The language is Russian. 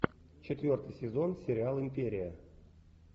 четвертый сезон сериал империя